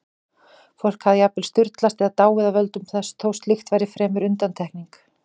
Fólk hafði jafnvel sturlast eða dáið af völdum þess, þó slíkt væri fremur undantekning.